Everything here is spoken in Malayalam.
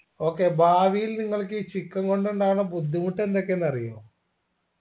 okay ഭാവിയിൽ നിങ്ങൾക്ക് ഈ chicken കൊണ്ടുണ്ടാവുന്ന ബുദ്ധിമുട്ട് എന്തൊക്കെന്ന് അറിയോ